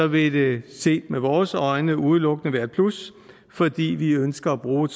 vil det set med vores øjne udelukkende være et plus fordi vi ønsker at bruge et